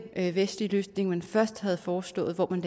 vestlige løsning man først havde foreslået hvor man